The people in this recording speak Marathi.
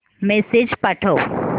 मेसेज पाठव